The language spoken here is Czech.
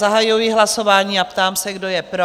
Zahajuji hlasování a ptám se, kdo je pro?